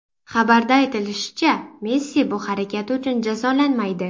Xabarda aytilishicha, Messi bu harakati uchun jazolanmaydi.